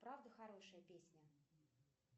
правда хорошая песня